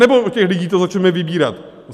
Anebo od těch lidí to začneme vybírat?